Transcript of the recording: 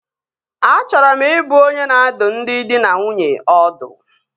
Achọrọ m ị bụ onye na-adụ ndị dị na nwunye ọdụ